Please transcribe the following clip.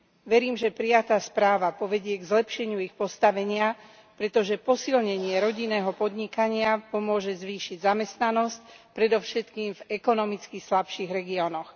Verím, že prijatá správa povedie k zlepšeniu ich postavenia, pretože posilnenie rodinného podnikania pomôže zvýšiť zamestnanosť, predovšetkým v ekonomicky slabších regiónoch.